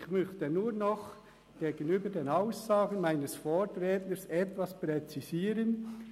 Ich möchte nur noch gegenüber den Aussagen meines Vorredners etwas präzisieren.